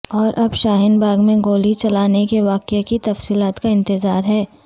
اور اب شاہین باغ میں گولی چلانے کے واقعہ کی تفصیلات کا انتظار ہے